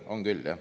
On küll, jah.